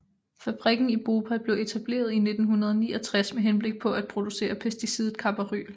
Fabrikken i Bhopal blev etableret i 1969 med henblik på at producere pesticidet carbaryl